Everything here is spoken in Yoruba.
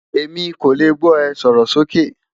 Emi ko le gbọ e, sọrọ soke